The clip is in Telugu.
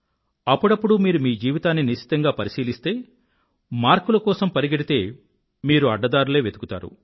అప్పుడప్పుడు మీరు మీ జీవితాన్ని నిశితంగా పరిశీలిస్తే మార్కుల కోసం పరిగెడితే మీరు అడ్డదారులే వెతుకుతారు